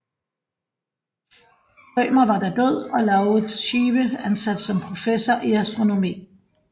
Rømer var da død og Lauritz Schive ansat som professor i astronomi